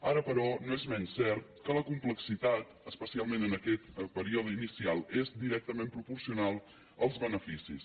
ara però no és menys cert que la complexitat especialment en aquest període inicial és directament proporcional als beneficis